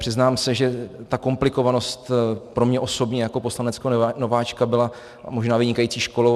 Přiznám se, že ta komplikovanost pro mě osobně jako poslaneckého nováčka byla možná vynikající školou.